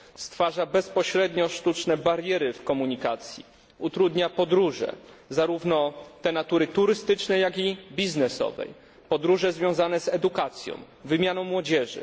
Stwarza bezpośrednio sztuczne bariery w komunikacji, utrudnia podróże, zarówno te natury turystycznej, jak i biznesowej, podróże związane z edukacją, wymianą młodzieży.